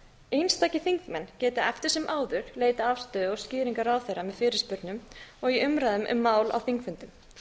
einstakir þingmenn geta eftir sem áður leitað afstöðu og skýringa ráðherra með fyrirspurnum og í umræðum um mál á þingfundum